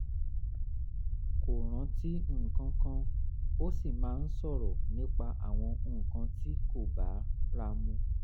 kò rántí nǹkan kan ó sì máa ń sọ̀rọ̀ nípa àwọn nǹkan tí kò bára mu